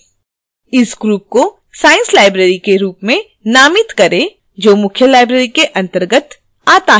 इस group को science library के रूप में name करें जो मुख्य library के अंतर्गत आता है